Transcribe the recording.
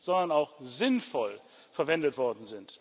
sondern auch sinnvoll verwendet wurden.